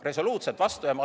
Resoluutselt vastu!